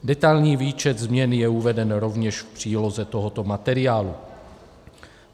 Detailní výčet změn je uveden rovněž v příloze tohoto materiálu.